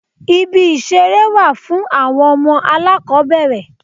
Ibi ìṣeré wà fún àwọn ọmọ alákòbẹ̀rẹ̀.